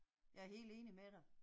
Jeg er helt enig med dig